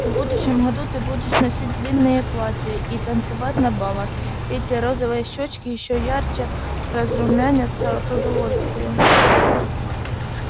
в будущем году ты будешь носить длинные платья и танцевать на балах и эти розовые щёчки ещё ярче разрумянятся от удовольствия